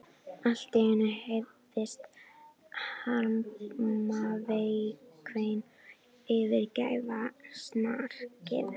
Allt í einu heyrðist harmakvein yfirgnæfa snarkið.